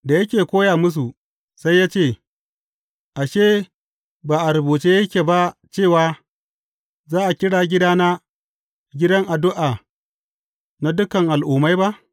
Da yake koya musu, sai ya ce, Ashe, ba a rubuce yake ba cewa, Za a kira gidana, gidan addu’a na dukan al’ummai ba’?